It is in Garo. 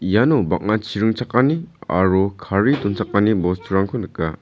iano bang·a chi ringchakani aro kari donchakani bosturangko nika.